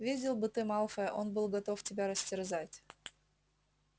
видел бы ты малфоя он был готов тебя растерзать